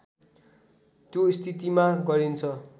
त्यो स्थितिमा गरिन्छ